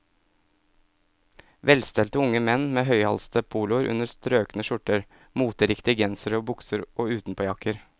Velstelte unge menn med høyhalsede poloer under strøkne skjorter, moteriktige gensere og bukser og utenpåjakker.